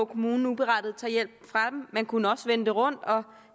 kommunen uberettiget tager hjælpen fra man kunne også vende det rundt og